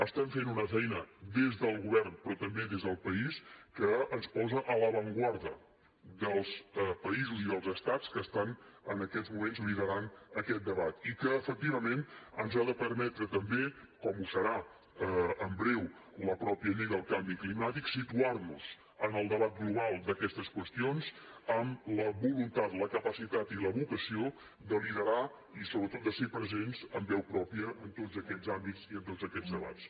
estem fent una feina des del govern però també des del país que ens posa a l’avantguarda dels països i dels estats que en aquests moments lideren aquest debat i que efectivament ens ha de permetre també com ho farà en breu la mateixa llei del canvi climàtic situar nos en el debat global d’aquestes qüestions amb la voluntat la capacitat i la vocació de liderar i sobretot de ser presents amb veu pròpia en tots aquests àmbits i en tots aquests debats